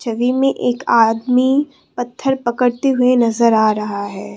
छवि में एक आदमी पत्थर पकड़ते हुए नजर आ रहा है।